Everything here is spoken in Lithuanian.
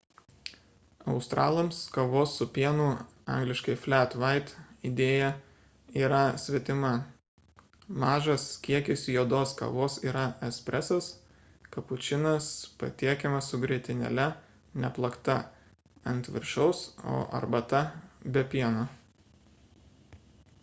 australams kavos su pienu angl. flat white idėja yra svetima. mažas kiekis juodos kavos yra espresas kapučinas patiekiamas su grietinėle neplakta ant viršaus o arbata – be pieno